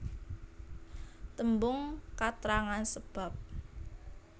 Tembung katrangan sebab